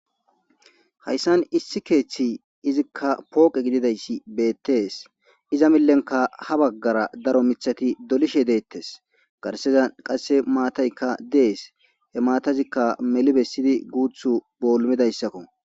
Hayssan issi keeththi izikka pooqe gididayssi beettees iza millenka ha baggara daro mithati dolishe deettes garseza qasse maataykka dees he maatazikka melibessidi guuth boolmidayssakko.